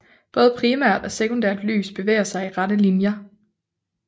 Både primært og sekundært lys bevæger sig i rette linjer